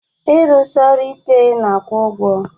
Ịrụsi ọrụ ike na-akwụ ụgwọ